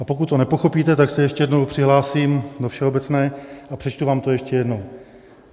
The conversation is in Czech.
A pokud to nepochopíte, tak se ještě jednou přihlásím do všeobecné a přečtu vám to ještě jednou.